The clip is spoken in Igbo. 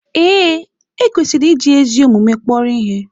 Ee, e kwesịrị iji ezi omume kpọrọ ihe.